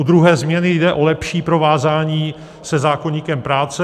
U druhé změny jde o lepší provázání se zákoníkem práce.